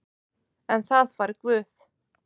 En það fær Guð.